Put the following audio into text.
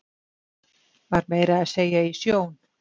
Var meira að segja í sjón